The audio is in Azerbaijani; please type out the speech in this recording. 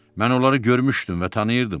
Mən onları görmüşdüm və tanıyırdım.